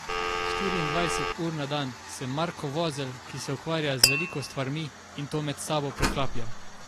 Štiriindvajset ur na dan sem Marko Vozelj, ki se ukvarja z veliko stvarmi in to med sabo preklaplja.